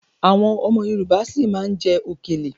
Àwọn ọmọ Yorùbá si má ma jẹ okèlè.